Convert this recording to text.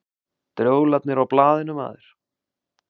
Drjólarnir á blaðinu, maður.